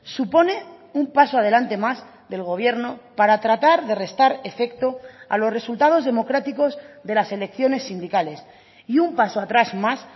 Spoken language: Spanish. supone un paso adelante más del gobierno para tratar de restar efecto a los resultados democráticos de las elecciones sindicales y un paso atrás más